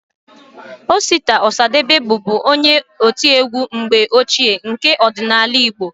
Osita Ọsadebe bụbu onye otiegwu mgbe ochie nke ọdịnala igbo